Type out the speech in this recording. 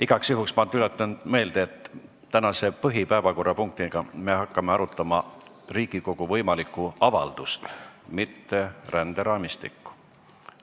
Igaks juhuks tuletan meelde, et tänase põhilise päevakorrapunkti arutelul me hakkame arutama Riigikogu võimalikku avaldust, mitte ränderaamistikku.